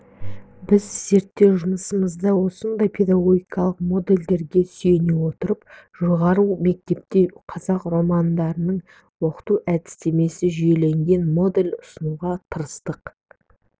біз зерттеу жұмысымызда осындай педагогикалық модельдерге сүйене отырып жоғары мектепте қазақ романдарын оқыту әдістемесі жүйеленген модель ұсынуға тырыстық